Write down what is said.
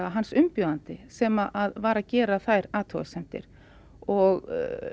hans umbjóðandi sem var að gera þær athugasemdir og